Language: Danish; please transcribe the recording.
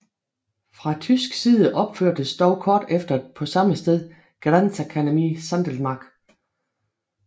Fra tysk side opførtes dog kort efter på samme sted Grenzakademie Sankelmark